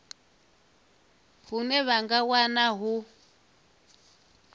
hune vha nga wana hu